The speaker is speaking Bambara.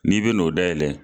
N'i be n'o dayɛlɛ